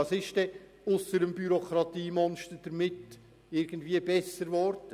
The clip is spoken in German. Was würde ausser dem Bürokratiemonster besser werden?